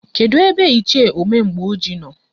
Kedụ ebe Ichie Omemgboji nọ?